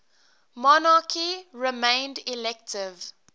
monarchy remained elective